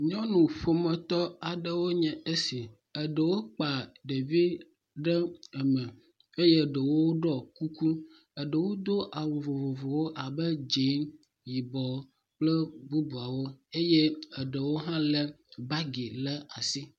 Nyɔnu ƒometɔ aɖewo nye esi. Ɖewo kpa ɖevi ɖe eme eye ɖewo ɖɔ kuku. Eɖewo do awu vovovowo abe dzɛ̃, yibɔ kple bubuawo eye ɖewo hã lé bagi ɖe asi.